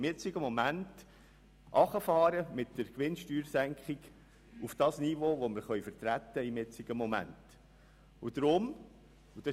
Vielmehr wollen wir jetzt mit der Gewinnsteuersenkung auf das Niveau herunterfahren, das wir gegenwärtig vertreten können.